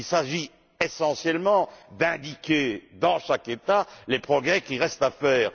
Il s'agit essentiellement d'indiquer, dans chaque État, les progrès qui restent à faire.